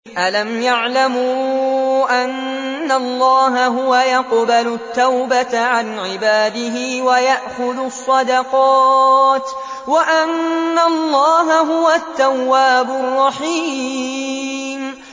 أَلَمْ يَعْلَمُوا أَنَّ اللَّهَ هُوَ يَقْبَلُ التَّوْبَةَ عَنْ عِبَادِهِ وَيَأْخُذُ الصَّدَقَاتِ وَأَنَّ اللَّهَ هُوَ التَّوَّابُ الرَّحِيمُ